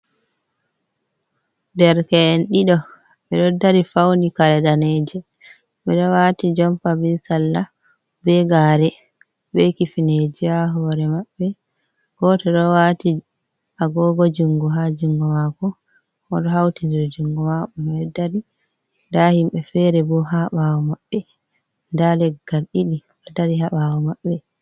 Derke’en ɗiɗo ɓiɗo dari fauni karee danejom, ɓeɗo wati jompa, be salla, be gare, be kifineje ha hore maɓɓe, goto ɗo wati agogo jungo ha jungo mako, oɗo hauti ndir jungo mako, ɓeɗo dari, nda himɓe fere bo ha ɓawo maɓɓe nda leggal ɗiɗi ɗo dari ha ɓawo maɓɓe.